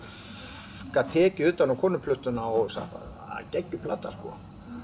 gat tekið utan um Konuplötuna og hugsað geggjuð plata sko